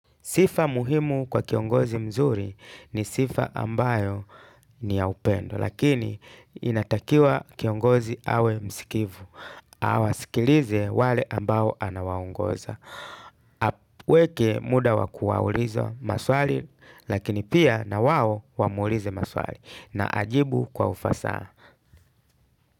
Sifa muhimu kwa kiongozi mzuri ni sifa ambayo ni ya upendo, lakini inatakiwa kiongozi awe msikivu, au asikilize wale ambao anawaongoza. Aweke muda wa kuwauliza maswali, lakini pia na wao wamuulize maswali, na ajibu kwa ufasaha.